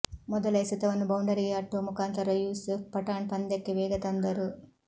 ಮೊದಲ ಎಸೆತವನ್ನು ಬೌಂಡರಿಗೆ ಅಟ್ಟುವ ಮುಖಾಂತರ ಯುಸೂಫ್ ಪಠಾಣ್ ಪಂದ್ಯಕ್ಕೆ ವೇಗ ತಂದರು